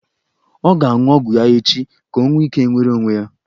Ọ ga-aṅụ ọgwụ ya echi ka o nwee ike nwere onwe ya.